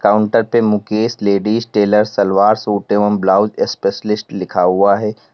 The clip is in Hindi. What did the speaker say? काउंटर पे Mukesh ladies tailor salwar suit एवं ब्लाउज स्पेशलिस्ट लिखा हुआ है।